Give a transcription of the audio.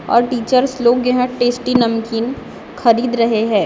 और टीचर्स लोग यहाँ टेस्टी नमकीन खरीद रहे है।